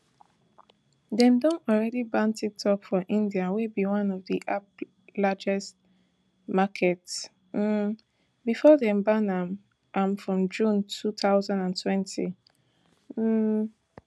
dem don already ban tiktok for india wey be one of di app largest markets um bifor dem ban am am for june two thousand and twenty um